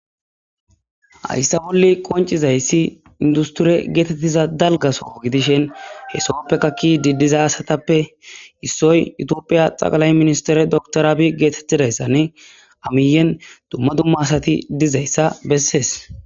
Haysa boli qonc'izaysi industure getetiza dalga soho gidishin he Sohopeka kiyidi diza asatape isoy itopia dheqilay ministere dokter abiy getetidaysani a miyen duma duma asati dizaysa beses.